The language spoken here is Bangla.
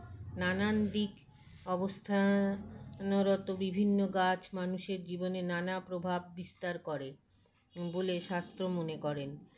নানানদিক অবস্থানরত বিভিন্ন গাছ মানুষের জীবনে নানা প্রভাব বিস্তার করে বোলে শাস্ত্র মনে করেন